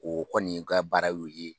O kɔni ka baara y'o ye.